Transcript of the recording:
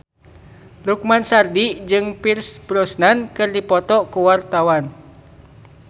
Lukman Sardi jeung Pierce Brosnan keur dipoto ku wartawan